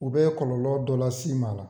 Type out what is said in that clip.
U be kɔlɔlɔlɔ dɔ las'ima ala